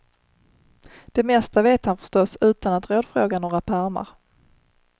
Det mesta vet han förstås utan att rådfråga några pärmar.